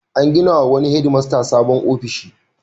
An gina wa wani hedmasta sabon ofishi.